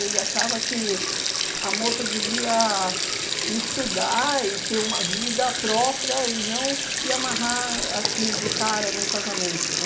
Ele achava que a moça devia estudar e ter uma vida própria e não se amarrar assim, de cara, num casamento, né?